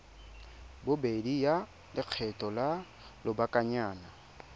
bobedi ya lekgetho la lobakanyana